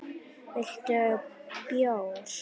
Viltu bjór?